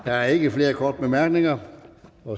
der er ikke flere korte bemærkninger